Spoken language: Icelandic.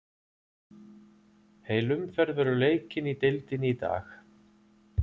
Heil umferð verður leikin í deildinni í dag.